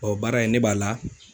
Ɔɔ baara in, ne b'a la